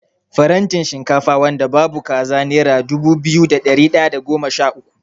Farantin shinkafa wanda babu kaza nera dubu biyu da ɗari ɗaya da goma sha uku.